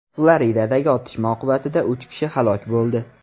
Floridadagi otishma oqibatida uch kishi halok bo‘ldi.